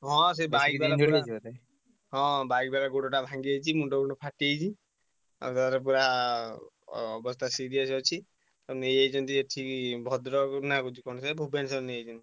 ହଁ ସେ bike ବାଲା ହଁ bike ବାଲା ଗୋଡଟା ଭାଙ୍ଗିଯାଇଛି ମୁଣ୍ଡ ଫୁଣ୍ଡ ଫାଟି ଯାଇଛି , ଏକାଥରେ ପୁରା ଅବସ୍ଥା serious ଅଛି। ତାଙ୍କୁ ନେଇଯାଇଛନ୍ତି ଏଠିକି ଭଦ୍ରକ କହୁଛି କଣ ସେ ଭୁବନେଶ୍ୱର ନେଇଯାଇଛନ୍ତି।